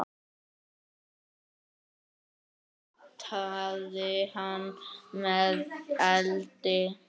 Aðra pyntaði hann með eldi.